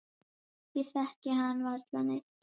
Ég þekki hann varla neitt.